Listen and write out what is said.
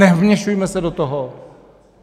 Nevměšujme se do toho.